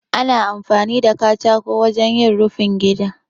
Ana amfani da katako wajen yin rufin gida.